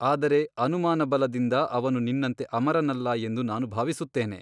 ಆದರೆ ಅನುಮಾನಬಲದಿಂದ ಅವನು ನಿನ್ನಂತೆ ಅಮರನಲ್ಲ ಎಂದು ನಾನು ಭಾವಿಸುತ್ತೇನೆ.